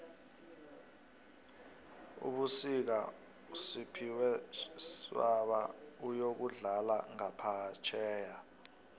fbusika usphiwe shabala uyokudlala ngaphefjheya